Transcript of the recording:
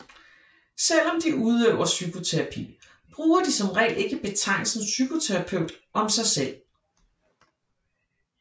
Selv om de udøver psykoterapi bruger de som regel ikke betegnelsen psykoterapeut om sig selv